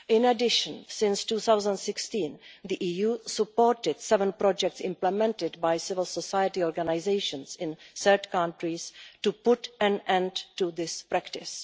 In addition, since 2016 the EU has supported seven projects implemented by civil society organisations in third countries to put an end to this practice.